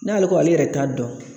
N'ale ko ale yɛrɛ t'a dɔn